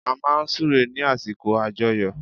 A máa n súre ní àsìkò àjoyọ̀